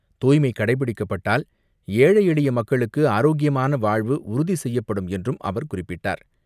தூய்மை கடைபிடிக்கப்பட்டால், ஏழை, எளிய மக்களுக்கு ஆரோக்கியமான வாழ்வு உறுதி செய்யப்படும் என்றும் அவர் குறிப்பிட்டார்.